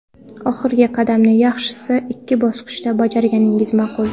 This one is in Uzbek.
Oxirgi qadamni yaxshisi ikki bosqichda bajarganingiz ma’qul.